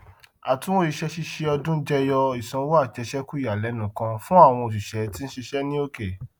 àtunwò iṣẹ ṣíṣe ọdún jẹyọ ìsanwó àjẹsékù ìyàlẹnu kan fún àwọn oṣiṣẹ tí ń ṣiṣẹ ní òkè